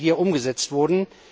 Euro, die hier umgesetzt wurden.